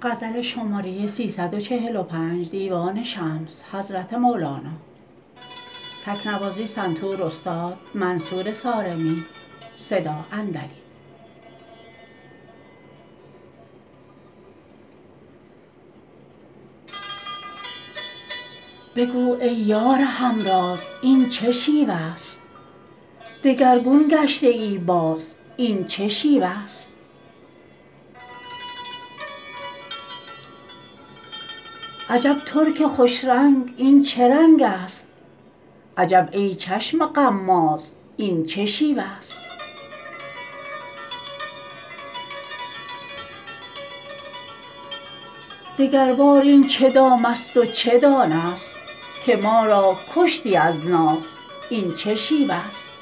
بگو ای یار همراز این چه شیوه ست دگرگون گشته ای باز این چه شیوه ست عجب ترک خوش رنگ این چه رنگست عجب ای چشم غماز این چه شیوه ست دگربار این چه دامست و چه دانه ست که ما را کشتی از ناز این چه شیوه ست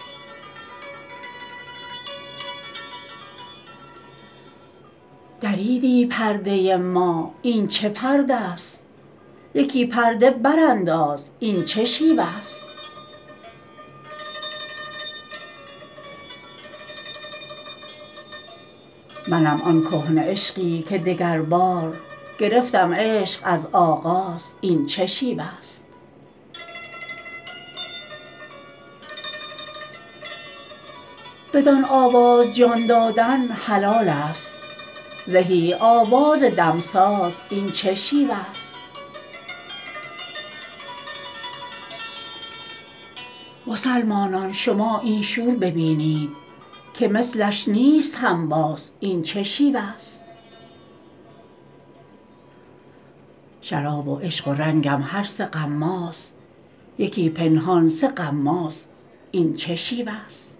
دریدی پرده ما این چه پرده ست یکی پرده برانداز این چه شیوه ست منم آن کهنه عشقی که دگربار گرفتم عشق از آغاز این چه شیوه ست بدان آواز جان دادن حلالست زهی آواز دمساز این چه شیوه ست مسلمانان شما این شور بینید که مثلش نیست هنباز این چه شیوه ست شراب و عشق و رنگم هر سه غماز یکی پنهان سه غماز این چه شیوه ست